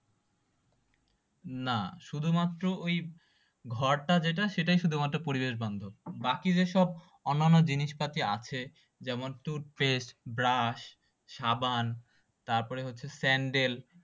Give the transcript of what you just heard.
না শধুমাত্র ওই ঘরটা যেটা সেটাই শুধুমাত্র প্রবেশবান্ধব বাকি যেসব অন্যান্য জিনিস আছে যেমন টুথপেষ্ট ব্রাশ সাবান তারপর হচ্ছে স্যান্ডেল